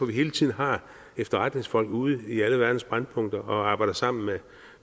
vi hele tiden har efterretningsfolk ude i alle verdens brændpunkter og arbejder sammen med